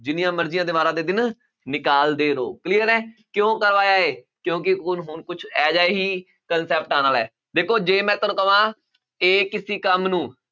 ਜਿੰਨੀਆਂ ਮਰਜ਼ੀਆਂ ਦੀਵਾਰਾਂ ਦੇ ਦਿਨ ਨਿਕਾਲਦੇ ਰਹੋ clear ਹੈ ਕਿਉਂ ਕਰਵਾਇਆ ਇਹ ਕਿਉਂਕਿ ਹੁਣ ਹੁਣ ਕੁਛ ਇਹ ਜਿਹਾ ਹੀ concept ਆਉਣ ਵਾਲਾ ਹੈ ਦੇਖੋ ਜੇ ਮੈਂ ਤੁਹਾਨੂੰ ਕਵਾਂ a ਕਿਸੇ ਕੰਮ ਨੂੰ